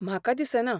म्हाका दिसना.